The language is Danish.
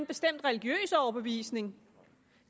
bestemt religiøs overbevisning